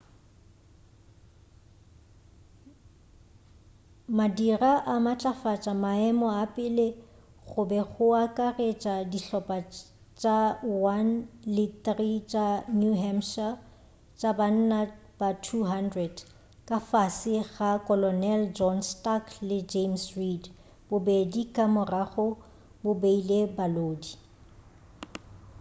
madira a matlafatša maemo a pele go be go akaretša dihlopa tša 1 le 3 tša new hampshire tša banna ba 200 ka fase ga kolonel john stark le james reed bobedi ka morago bo beile balodi